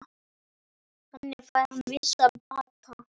Þannig fær hann vissan bata.